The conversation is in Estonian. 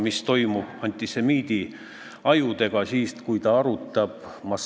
Kui mõni ärimudel on selline, et ettevõttele määratud sunniraha viib ta pankrotti, siis ma arvan, et see ettevõte peabki pankrotti minema.